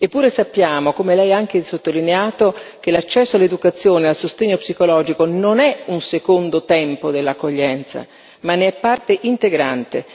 Eppure sappiamo, come lei ha anche sottolineato, che l'accesso all'educazione e al sostegno psicologico non è un secondo tempo dell'accoglienza ma ne è parte integrante.